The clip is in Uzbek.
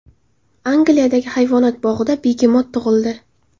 Angliyadagi hayvonot bog‘ida begemot tug‘ildi.